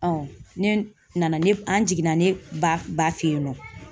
ne nana ne an jiginna ne ba ba fɛ yen nɔ